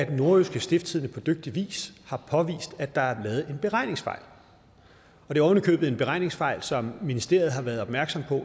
nordjyske stiftstidende på dygtig vis har påvist at der er lavet en beregningsfejl det er oven i købet en beregningsfejl som ministeriet har været opmærksom